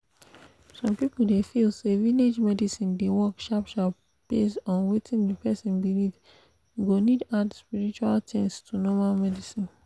some people dey feel say village medicine dey work sharp sharp based on wetin the person believe e go need add spiritual things to normal medicine